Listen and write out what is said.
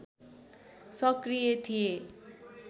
सक्रिय थिए